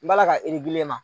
N b'a la ka